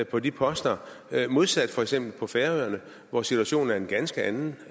på de poster modsat for eksempel på færøerne hvor situationen er en ganske anden